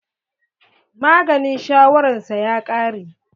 Maganin shawaran sa ya ƙare.